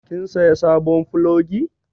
Kin saya sabon plogi?